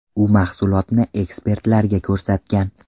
U mahsulotni ekspertlarga ko‘rsatgan.